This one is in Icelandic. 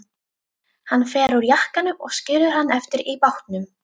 Hann fer úr jakkanum og skilur hann eftir í bátnum.